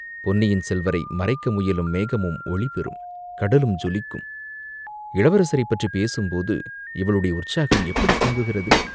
பொன்னியின் செல்வரை மறைக்க முயலும் மேகமும் ஒளி பெறும், கடலும் ஜொலிக்கும்!" இளவரசரைப் பற்றிப் பேசும்போது இவளுடைய உற்சாகம் எப்படிப் பொங்குகிறது?